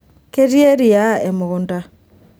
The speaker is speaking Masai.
ketii eriaa emukunta